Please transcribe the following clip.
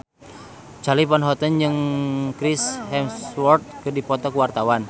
Charly Van Houten jeung Chris Hemsworth keur dipoto ku wartawan